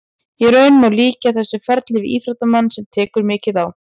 Í raun má líkja þessu ferli við íþróttamann sem tekur mikið á.